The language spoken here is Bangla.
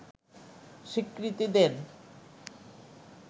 স্বীকৃতি দেন